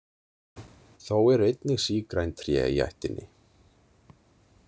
Þó eru einnig sígræn tré í ættinni.